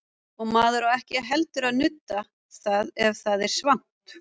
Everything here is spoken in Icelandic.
Og maður á ekki heldur að nudda það ef það er svangt.